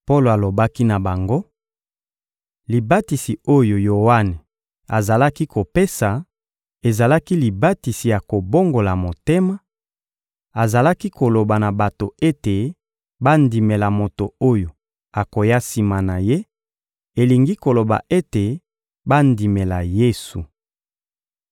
Polo alobaki na bango: — Libatisi oyo Yoane azalaki kopesa ezalaki libatisi ya kobongola motema; azalaki koloba na bato ete bandimela moto oyo akoya sima na ye, elingi koloba ete bandimela Yesu.